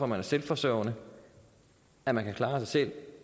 man er selvforsørgende at man kan klare sig selv